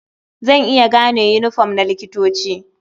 Zan iya gane yiniform na likitoci.